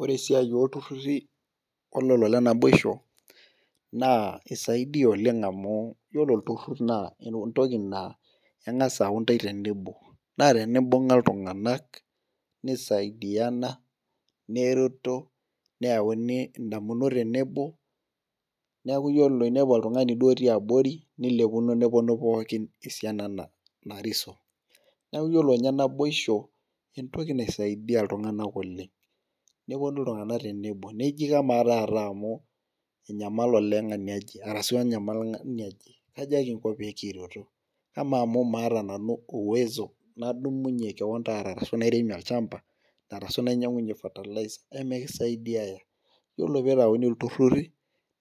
Ore esiai ooltururi olelo le naboisho, naa isaidia oleng amu iyiolo olturur naa entoki naa engas aayau intae tenebo. naa tenimbung'a iltunganak nisaidiana .nereto. neyauni damunot tenebo. neeku iyiolo teninepu oltungani duo etii abori, nilepuno nepuoi nu pookin tesiana narisio. neeku iyiolo ninye naboisho entoki naisaidia iltunganak oleng. nepuonu iltunganak tenebo. taata amu enyamali oleng enaje arashu enyamali ng'ani oje. Kaja kinko pee kireto. amaa amu maata nanu uwezo nadumunye kewon taata ashu nairemie olchampa. arashu ninyiang'unye fertilizer eme kisaidiayaya. itiolo pee itauni, iltururi,